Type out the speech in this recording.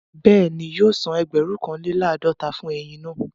Bẹ́ẹ̀ni, yóò san ẹgbẹ̀rún kan lé làádọ́ta fún eyin náà